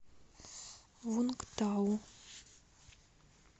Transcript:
вунгтау